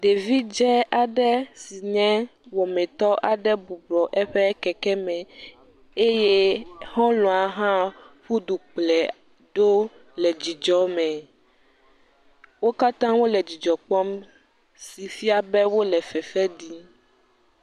Ɖevi dze aɖe si nye wɔmitɔ aɖe bɔbɔ nɔ eƒe keke me, exɔlɔa hã ƒu du kplɔe ɖo le dzidzɔ me, wo katã wole dzidzɔ kpɔm si fia be, wole fefe ɖim.